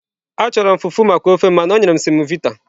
Achọrọ m fufu maka ofe m mana o nyere m semovita.